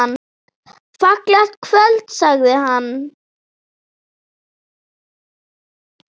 Fallegt kvöld sagði hann.